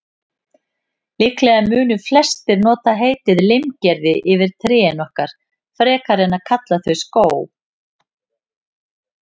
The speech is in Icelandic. Líklega mundu flestir nota heitið limgerði yfir trén okkar, frekar en að kalla þau skóg.